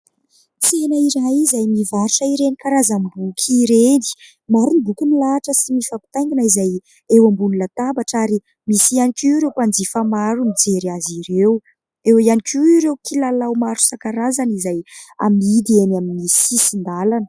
Tsena iray izay nivarotra ireny karazam-boky ireny. Maro ny boky nilahitra sy nifampitaingina izay eo ambony latabatra ary misy ihany koa ireo mpanjifa maro mijery azy ireo. Eo ihany koa ireo kilalao maro isan-karazany izay amidy eny amin'ny sisin-dalana.